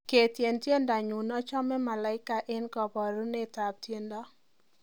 ketyen tiendonyun achomin malaika en koborunet ab teendo